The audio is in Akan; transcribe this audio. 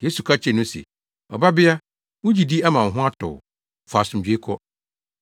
Yesu ka kyerɛɛ no se, “Ɔbabea, wo gyidi ama wo ho atɔ wo. Fa asomdwoe kɔ.”